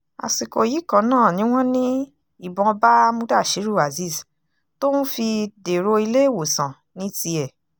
àsìkò yìí kan náà ni wọ́n ní ìbọn bá mudasiru azeez tóun fi dèrò iléèwòsàn ní tiẹ̀